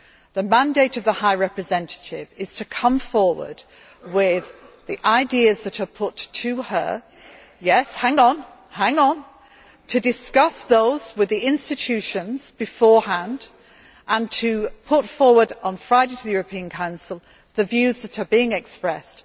The mandate of the High Representative is to come forward with the ideas that are put to her, to discuss those with the institutions beforehand, and to put forward, on Friday to the European Council, the views that are being expressed.